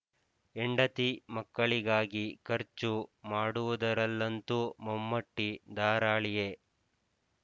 ಹೆಂಡತಿ ಮಕ್ಕಳಿಗಾಗಿ ಖರ್ಚು ಮಾಡುವುದರಲ್ಲಂತೂ ಮಮ್ಮ ಟಿ ಧಾರಾಳಿಯೇ